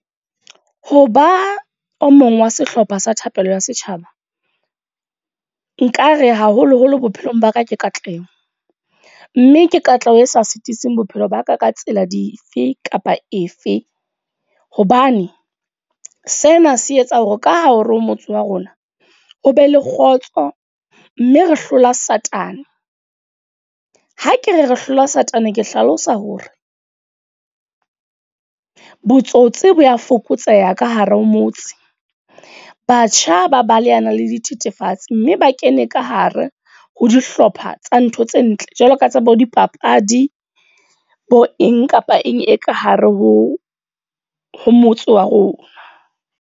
Ho ba o mong wa sehlopha sa thapelo sa setjhaba. Nkare haholo-holo bophelong ba ka ke katleho. Mme ke katleho e sa sitising bophelo ba ka ka tsela dife kapa efe. Hobane sena se etsa hore ka ha o re o motse wa rona, ho be le kgotso mme re hlola satane. Ha ke re re hlola satane. Ke hlalosa hore botsotsi bo a fokotseha ka hare ho motse. Batjha ba baletana le dithethefatsi mme ba kene ka hare ho dihlopha tsa ntho tse ntle Jwalo ka tsebe ho dipapadi, bo eng kapa eng e ka hare ho ho motse wa rona.